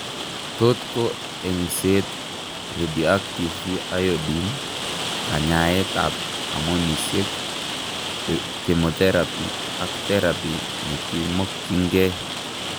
Tot ko eng'seet, radioactive iodine, kanyaeet ab hormonisiek, chemoteraphy ak teraphy nekimokyinkee